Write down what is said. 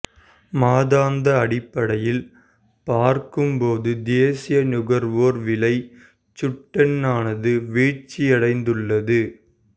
மாதாந்த அடிப்படையில் பார்க்கும் போது தேசிய நுகர்வோர் விலைச் சுட்டெண்ணானது வீழ்ச்சியடைந்துள்ளது